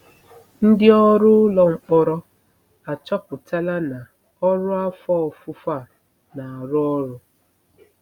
Ndị ọrụ ụlọ mkpọrọ achọpụtala na ọrụ afọ ofufo a na-arụ ọrụ.